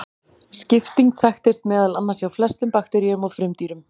Skipting þekkist meðal annars hjá flestum bakteríum og frumdýrum.